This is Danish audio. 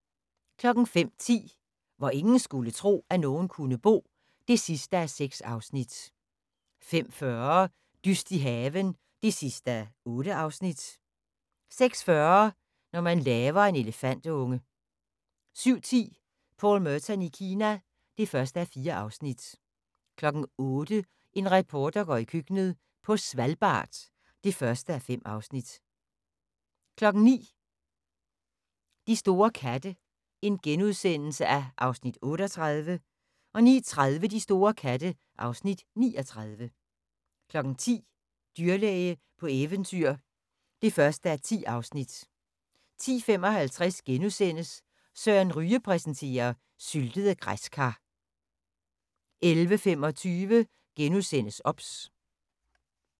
05:10: Hvor ingen skulle tro, at nogen kunne bo (6:6) 05:40: Dyst i haven (8:8) 06:40: Når man laver en elefantunge 07:10: Paul Merton i Kina (1:4) 08:00: En reporter går i køkkenet - på Svalbard (1:5) 09:00: De store katte (Afs. 38)* 09:30: De store katte (Afs. 39) 10:00: Dyrlæge på eventyr (1:10) 10:55: Søren Ryge præsenterer: Syltede græskar * 11:25: OBS *